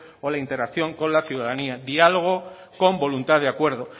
o la integración con la ciudadanía diálogo con voluntad de acuerdo